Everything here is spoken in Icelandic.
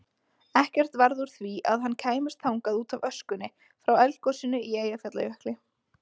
Ekkert varð úr því að hann kæmist þangað útaf öskunni frá eldgosinu í Eyjafjallajökli.